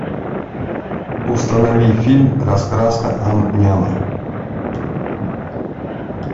установи фильм раскраска ам няма